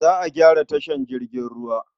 Za a gyara tashar jirgin ruwar.